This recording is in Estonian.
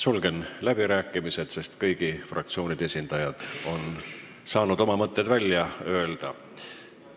Sulgen läbirääkimised, sest kõigi fraktsioonide esindajad on saanud oma mõtted välja öelda.